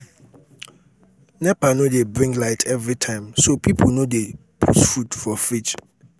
nepa no dey bring light everytime so people no dey put food for fridge